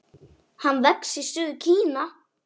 Hann vex í suður Kína.